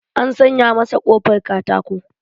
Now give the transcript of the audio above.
An sanya masa ƙofar katato.